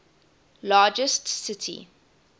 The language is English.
largest city